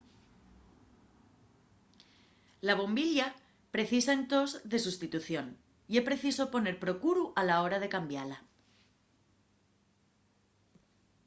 la bombilla precisa entós de sustitución ye preciso poner procuru a la hora de cambiala